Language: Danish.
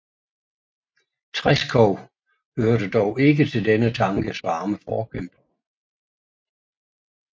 Treschow hørte dog ikke til denne tankes varme forkæmpere